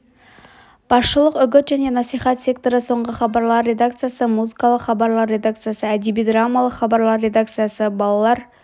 басшылық үгіт және насихат секторы соңғы хабарлар редакциясы музыкалық хабарлар редакциясы әдеби-драмалық хабарлар редакциясы балалар